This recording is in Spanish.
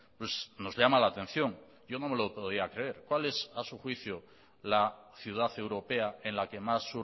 pues nos llama la atención yo no me lo podía creer cuál es a su juicio la ciudad europea en la que más